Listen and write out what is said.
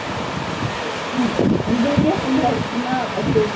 ம்ம். உங்களுக்கே full na , super தான்